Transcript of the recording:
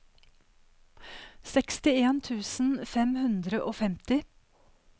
sekstien tusen fem hundre og femti